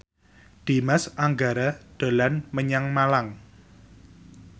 Dimas Anggara dolan menyang Malang